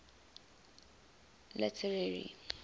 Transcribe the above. literary